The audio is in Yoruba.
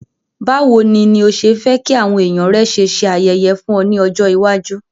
Bàwoni ni o se fe ki àwon èyàn rẹ ṣe se ayẹyẹ fún o ni ọjọ̀ iwájú.